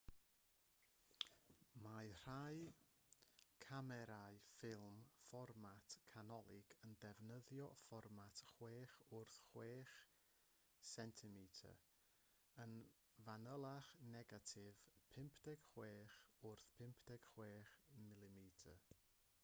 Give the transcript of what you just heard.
mae rhai camerâu ffilm fformat canolig yn defnyddio fformat 6 wrth 6 cm yn fanylach negatif 56 wrth 56 mm